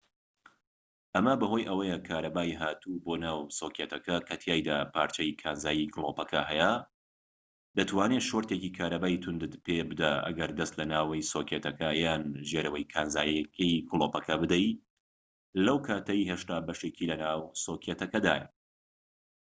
ئەمە بەهۆی ئەوەیە کارەبای هاتوو بۆ ناو سۆکێتەکە کە تیایدا پارچەی کانزایی گلۆپەکە هەیە دەتوانێت شۆرتێکی کارەبایی توندت پێ بدات ئەگەر دەست لە ناوەوەی سۆکێتەکە یان ژێرەوە کانزاییەکەی گلۆپەکە بدەیت لەو کاتەی هێشتا بەشێکی لە ناو سۆکێتەکەدایە